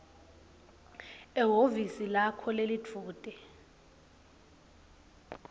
ehhovisi lakho lelidvute